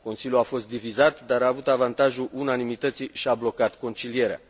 Consiliul a fost divizat, dar a avut avantajul unanimității și a blocat concilierea.